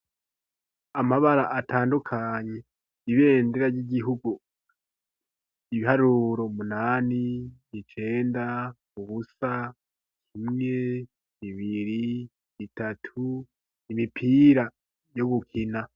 Amabara atandukanye, ibendera ry'igihugu, ibiharuro:umunani, icenda, ubusa, kimwe, bibiri, bitatu, imipira yo gukina.